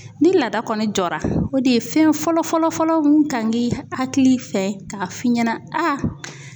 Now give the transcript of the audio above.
Ni laada kɔni jɔra ,o de ye fɛn fɔlɔ fɔlɔ fɔlɔ min kan k'i hakili fɛ ka f'i ɲɛna a